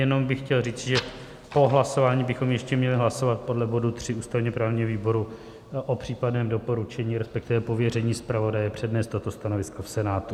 Jenom bych chtěl říci, že po hlasování bychom ještě měli hlasovat podle bodu 3 ústavně-právního výboru o případném doporučení, respektive pověření zpravodaje přednést toto stanovisko v Senátu.